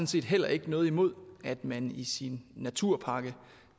set heller ikke noget imod at man i sin naturpakke